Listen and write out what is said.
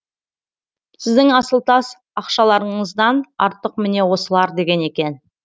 сіздің асыл тас ақшаларыңыздан артық міне осылар деген екен